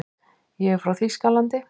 Ég er frá Þýskalandi.